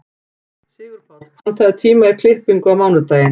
Sigurpáll, pantaðu tíma í klippingu á mánudaginn.